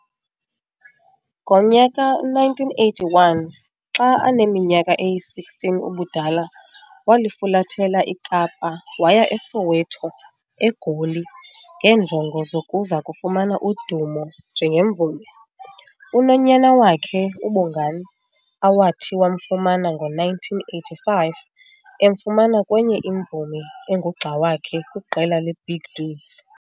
Ngo-1981, xa aneminyaka eyi-16 ubudala, walifulathela iKapa waya eSoweto, eGoli, ngeenjongo zokuza kufumana udumo njengemvumi. Unonyana wakhe, uBongani, awathi wamfumana ngo-1985 emfumana kwenye imvumi engugxa wakhe kwiqela leBig Dudes.